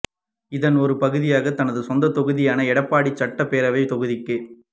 இதன் ஒரு பகுதியாக தனது சொந்த தொகுதியான எடப்பாடி சட்டப்பேரவைத் தொகுதிக்கு